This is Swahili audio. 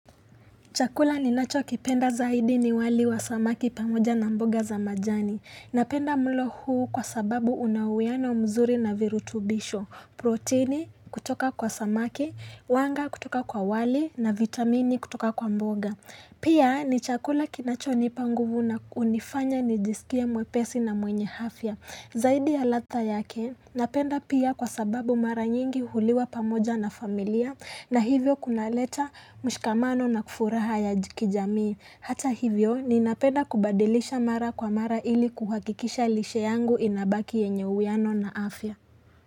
Chakula ninachokipenda zaidi ni wali wa samaki pamoja na mboga za majani. Napenda mlo huu kwa sababu una uwiano umzuri na virutubisho. Proteini kutoka kwa samaki, wanga kutoka kwa wali na vitamini kutoka kwa mboga. Pia ni chakula kinachonipa nguvu na hunifanya nijisikie mwepesi na mwenye afya. Zaidi ya ladha yake, napenda pia kwa sababu mara nyingi huliwa pamoja na familia na hivyo kunaleta mshikamano na furaha ya kijamii. Hata hivyo, ninapenda kubadilisha mara kwa mara ili kuhakikisha lishe yangu inabaki yenye uwiano na afya.